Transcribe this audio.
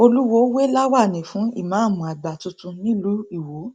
olùwọọ wé láwàní fún ìmáàmù àgbà tuntun nílùú iwọ